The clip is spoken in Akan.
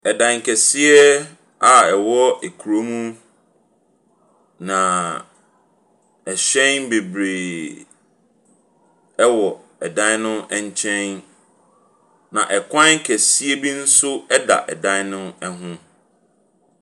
Dan kɛseɛ a ɛwɔ kurom, na ɛhyɛ bebree wɔn ɛdan nkyɛn. Na kwan kɛseɛ bi nso da dan no ho.